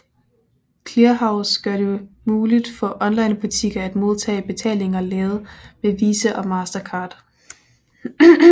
Clearhaus gør det muligt for onlinebutikker at modtage betalinger lavet med Visa og Mastercard